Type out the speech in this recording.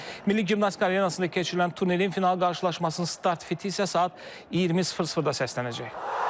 Milli Gimnastika Arenasında keçirilən turnirin final qarşılaşmasının start fiti isə saat 20:00-da səslənəcək.